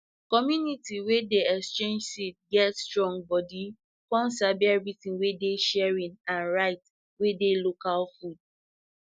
community wey dey exchange seed get strong join body com sabi everything wey dey sharing and right wey dey local food